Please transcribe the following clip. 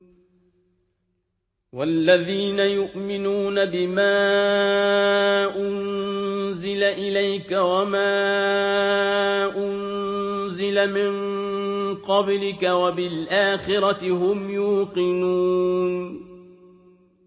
وَالَّذِينَ يُؤْمِنُونَ بِمَا أُنزِلَ إِلَيْكَ وَمَا أُنزِلَ مِن قَبْلِكَ وَبِالْآخِرَةِ هُمْ يُوقِنُونَ